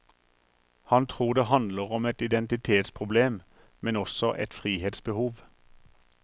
Han tror det handler om et identitetsproblem, men også et frihetsbehov.